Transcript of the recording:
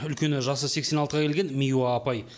үлкені жасы сексен алтыға келген миуа апай